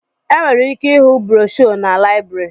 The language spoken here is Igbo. Enwere ike ịhụ broshuọ na láịbụrị